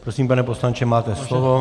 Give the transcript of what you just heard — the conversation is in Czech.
Prosím, pane poslanče, máte slovo.